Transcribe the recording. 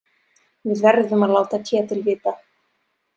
Við verðum að láta Ketil vita.